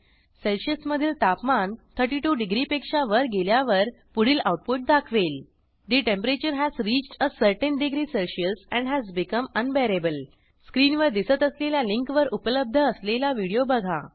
सेल्सिअसमधील तापमान 32 डिग्रीपेक्षा वर गेल्यावर पुढील आऊटपुट दाखवेल the temperature has reached a certain degree Celsius and has become unbearable स्क्रीनवर दिसत असलेल्या लिंकवर उपलब्ध असलेला व्हिडिओ बघा